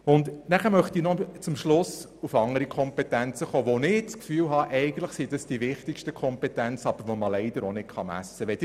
Zum Schluss möchte ich noch auf andere Kompetenzen zu sprechen kommen, die aus meiner Sicht am wichtigsten sind, und die man leider auch nicht messen kann.